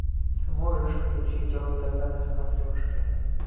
можешь включить ру тв на смотрешке